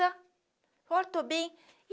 Agora eu estou bem.